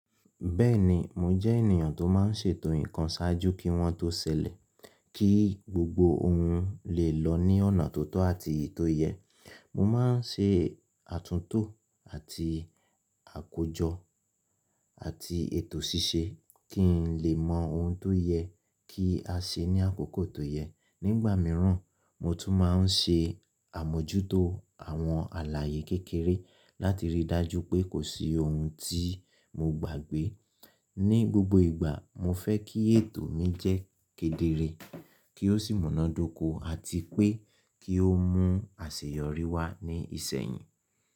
Bẹ́ẹ̀ni, mo jẹ́ ènìyàn tó má ń ṣètò nǹkan ṣáájú kí wọ́n tó ṣẹlẹ̀, kí gbogbo ohun lè lọ ní ọ̀nà tó tọ́ àti ètò yẹ. Mo má ń ṣe àtúntò àti àkójọ àti ètò ṣíṣe kí n lè mọ ohun tó yẹ kí a ṣe ní àkókò tó yẹ. Nígbà mìíràn, mo tún má ń ṣe àmójútó àwọn àlàyé kékeré láti rí i dájú pé kò sí ohun tí mo gbàgbé. Ni gbogbo ìgbà, mo fẹ́ kí ètò mi jẹ́ kedere, kí ó sì múnádóko àti pé kí ó mú àṣeyọrí wá ní ìsẹ́yìn.